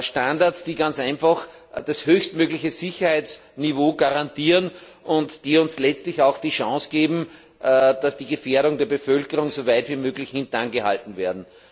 Standards, die ganz einfach das höchstmögliche Sicherheitsniveau garantieren und die uns letztlich auch die Chance geben, dass die Gefährdung der Bevölkerung soweit wie möglich hinten angehalten wird.